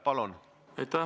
Palun!